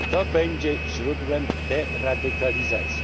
To będzie źródłem deradykalizacji.